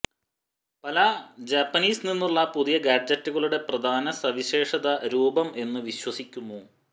പല ജാപ്പനീസ് നിന്നുള്ള പുതിയ ഗാഡ്ജറ്റുകളുടെ പ്രധാന സവിശേഷത രൂപം എന്നു വിശ്വസിക്കുന്നു